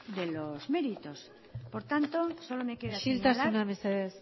de los méritos por tanto solo me queda isiltasuna mesedez